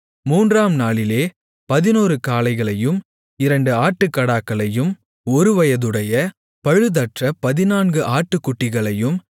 மூன்றாம் நாளிலே பதினொரு காளைகளையும் இரண்டு ஆட்டுக்கடாக்களையும் ஒருவயதுடைய பழுதற்ற பதினான்கு ஆட்டுக்குட்டிகளையும்